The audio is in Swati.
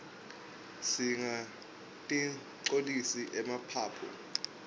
singatinqcolisi emaphaphu